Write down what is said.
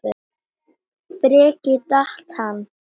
Breki: Datt hann?